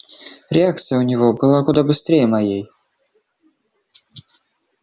реакция у него была куда быстрее моей